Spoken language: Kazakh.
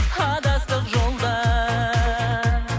адастық жолдан